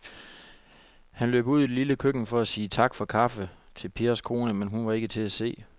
Han løb ud i det lille køkken for at sige tak for kaffe til Pers kone, men hun var ikke til at se.